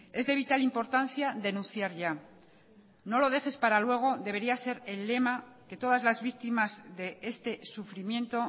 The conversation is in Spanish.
es de vital importancia denunciar ya no lo dejes para luego debería ser el lema que todas las víctimas de este sufrimiento